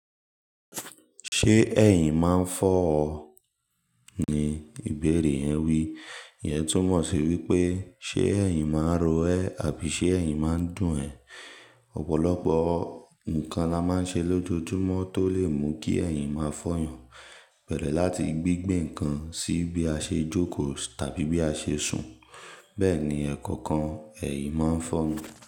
"Ṣé ẹ̀yìn máa ń fọ́ ọ?" ni ìbéèrè yẹn wí. Ìyẹn túmọ̀ sí wípé ṣe ẹ̀yìn máa ń ro ẹ́ àbí ṣe ẹ̀yìn máa ń dùn ẹ. Ọ̀pọ̀lọpọ̀ nǹkan la máa ń ṣe lójoojúmọ́ tó lè mú kí ẹ̀yìn máa fọ̀ yàn, bẹ̀ẹ́rẹ̀ láti gbígbẹ́ nǹkan sí bí a ṣe jókòó tàbí bí a ṣe sùn. Bẹ́ẹ̀ ni ẹ̀kọ̀kan ẹ̀yìn máa ń fọ́mi.